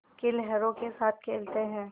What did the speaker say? की लहरों के साथ खेलते हैं